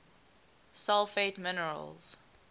sulfate minerals